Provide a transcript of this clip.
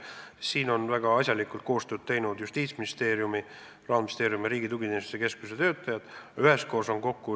Siin on Justiitsministeeriumi, Rahandusministeeriumi ja Riigi Tugiteenuste Keskuse töötajad väga asjalikult koostööd teinud.